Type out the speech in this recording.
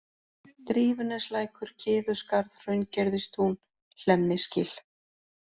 Drífuneslækur, Kiðuskarð, Hraungerðistún, Hlemmisgil